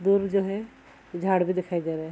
दूर जो है झाड़ भी दिखाई दे रहा है।